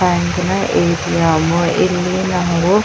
ಬ್ಯಾಂಕಿನ ಏ.ಟಿ.ಎಮ್. ಇಲ್ಲಿ ನವರು--